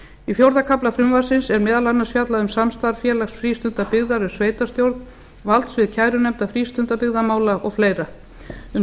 í fjórða kafla frumvarpsins er meðal annars fjallað um samstarf félags frístundabyggðar við sveitarstjórn valdsvið kærunefndar frístundabyggðamála o fl um